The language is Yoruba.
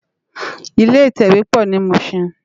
Ilé itèwé pò ni Mushin